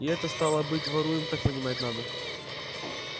и это стало быть воруем так понимать надо